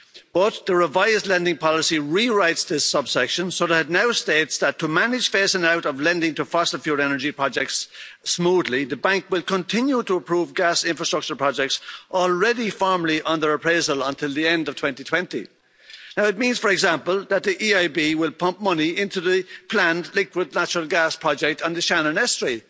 But the revised lending policy rewrites this subsection, so that it now states that to manage phasing out of lending to fossil fuel energy projects smoothly, the Bank will continue to approve gas infrastructure projects already firmly under appraisal until the end of 2020. Now it means, for example, that the EIB will pump money into the planned liquid natural gas project on the Shannon Estuary.